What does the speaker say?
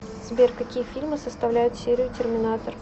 сбер какие фильмы составляют серию терминатор